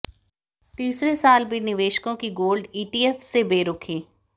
तीसरे साल भी निवेशकों की गोल्ड ईटीएफ से बेरुखी